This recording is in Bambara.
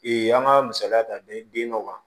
an ka misaliya ta den dɔ kan